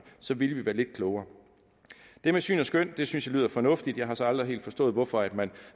så ville vi være lidt klogere det med syn og skøn synes jeg lyder fornuftigt jeg har så aldrig helt forstået hvorfor man